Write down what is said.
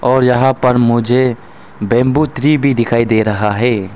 और यहां पर मुझे बैंबू ट्री भी दिखाई दे रहा है।